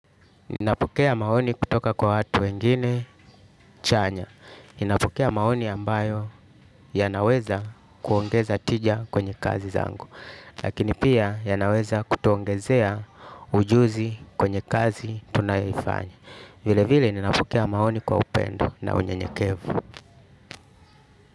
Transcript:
Ninapukea maoni kutoka kwa watu wengine chanya. Ninapokea maoni ambayo yanaweza kuongeza tija kwenye kazi zangu. Lakini pia yanaweza kutuongezea ujuzi kwenye kazi tunayoifanya. Vile vile ninapokea maoni kwa upendo na unye nyekevu.